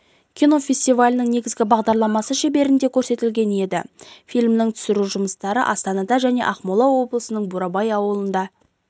кинофестивалінің негізгі бағдарламасы шеңберінде көрсетілген еді фильмнің түсіру жұмыстары астанада және ақмола облысының бурабай ауылында